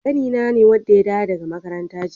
Ƙanina ne wanda ya dawo daga makaranta jiya.